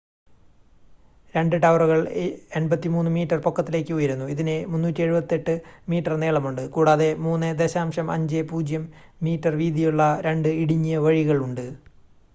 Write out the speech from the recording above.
രണ്ട് ടവറുകൾ 83 മീറ്റർ പൊക്കത്തിലേക്ക് ഉയരുന്നു ഇതിന് 378 മീറ്റർ നീളമുണ്ട് കൂടാതെ 3.50 മീറ്റർ വീതിയുള്ള രണ്ട് ഇടുങ്ങിയ വഴികൾ ഉണ്ട്